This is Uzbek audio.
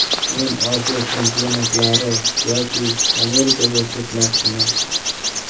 Men Osiyo chempionatlari yoki Amerikaga ketmoqchiman.